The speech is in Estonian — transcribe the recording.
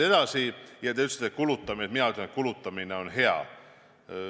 Edasi, te ütlesite, et kulutamine, st mina ütlen, et kulutamine on hea.